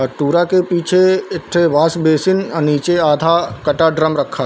अऊ टुरा के पीछे एक ठो वाश बेसिन अ निचे आधा कटा ड्रम रखा हे।